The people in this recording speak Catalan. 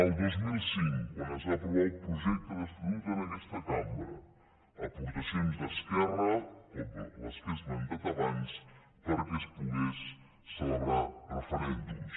el dos mil cinc quan es va aprovar el projecte d’estatut en aquesta cambra aportacions d’esquerra com les que he esmentat abans perquè es poguessin celebrar referèndums